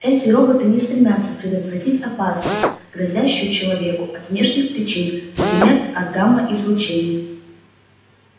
эти роботы не стремятся предотвратить опасность грозящую человеку от внешних причин например от гамма-излучения